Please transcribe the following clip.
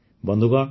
ବନ୍ଧୁଗଣ